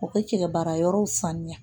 U ka cɛ baara yɔrɔw saniya